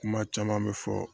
Kuma caman bɛ fɔ